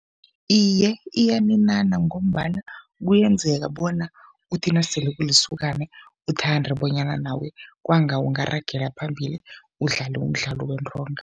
Iye, iyaninana ngombana kuyenzeka bona uthi nasele ulisokana uthande bonyana nawe kwanga ungaragela phambili udlale umdlalo wentonga.